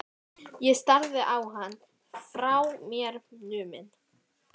Ég starði á hann, frá mér numin.